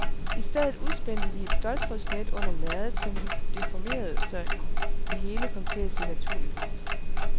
I stedet udspændte vi et ståltrådsnet under lærredet, som vi deformerede, så det hele kom til at se naturligt ud.